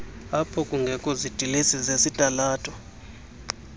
aphokungekho zidilesi zezitalato